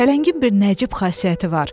Pələngin bir nəcib xasiyyəti var.